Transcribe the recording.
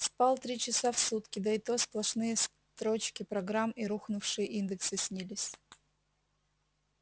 спал три часа в сутки да и то сплошные строчки программ и рухнувшие индексы снились